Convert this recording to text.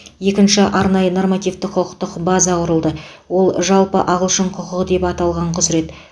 екінші арнайы нормативтік құқықтық база құрылды ол жалпы ағылшын құқығы деп аталған құзірет